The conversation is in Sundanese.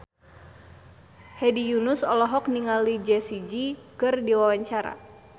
Hedi Yunus olohok ningali Jessie J keur diwawancara